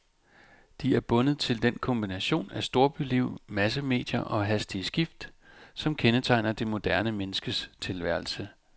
De er bundet til den kombination af storbyliv, massemedier og hastige skift, som kendetegner det moderne menneskes tilværelse.